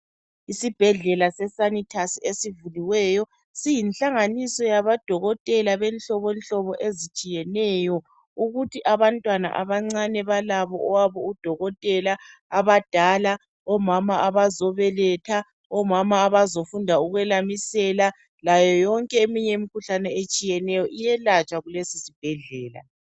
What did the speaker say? Isibhedlela seSanitus esivuliweyo siyinhlanganiso yabodokotela benhlobonhlobo ezitshiyeneyo. Ukuthi abantwana abancane balabo owabo udokotela, abadala, omama abazobeletha, omama abazofunda ukwelamisela. Layo yonke eminye imikhuhlane etshiyeneyo iyelatshwa kulesi sibhedlela.